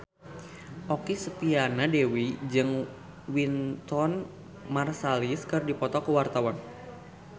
Okky Setiana Dewi jeung Wynton Marsalis keur dipoto ku wartawan